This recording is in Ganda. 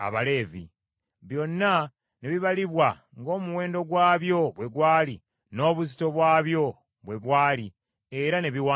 Byonna ne bibalibwa ng’omuwendo gwabyo bwe gwali n’obuzito bwabyo bwe bwali era ne biwandiikibwa.